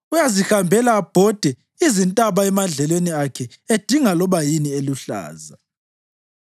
Uyazihambela abhode izintaba emadlelweni akhe edinga loba yini eluhlaza.